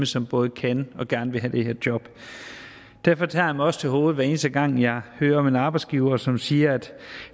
som både kan og gerne vil have det her job derfor tager jeg mig også til hovedet hver eneste gang jeg hører om en arbejdsgiver som siger at